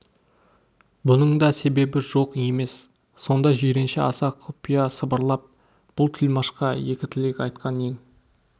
бұның да себебі жоқ емес сонда жиренше аса құпия сыбырлап бұл тілмашқа екі тілек айтқан ең